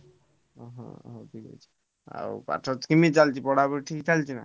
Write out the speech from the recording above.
ଓହୋ ହଉ ଠିକ୍ ଅଛି ଆଉ ପଥ କେମିତି ଚାଲିଛି ପଢା ପଢି ଠିକଠାକ ଚାଲିଛି ନା?